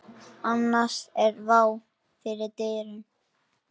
Annars er vá fyrir dyrum.